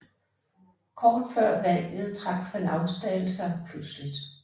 Kort før valget trak Van Ausdal sig pludseligt